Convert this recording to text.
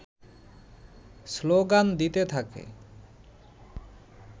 slogan দিতে থাকে